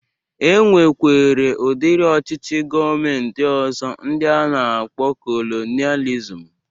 E nwekwere udiri ọchịchị gọọmenti ọzọ ndi a na-akpọ kolonializm